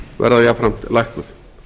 verða jafnframt lækkuð